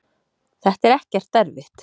þetta er ekkert erfitt.